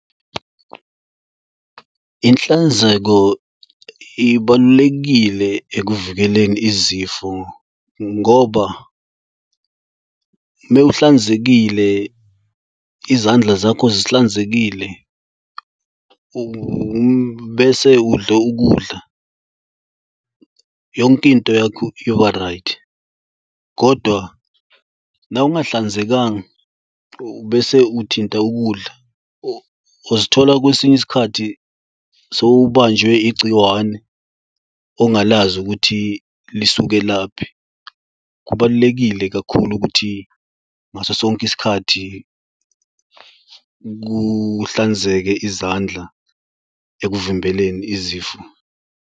Inhlanzeko ibalulekile ekuvikeleni izifo ngoba mewuhlanzekile izandla zakho zihlanzekile bese udla ukudla yonkinto yakho yoba-right. Kodwa nawe ungahlanzekanga ubese uthinta ukudla ozithola kwesinye isikhathi sowubanjwe igciwane ongalazi ukuthi lisuke laphi. Kubalulekile kakhulu ukuthi ngaso sonke isikhathi kuhlanzeke izandla ekuvimbeleni izifo.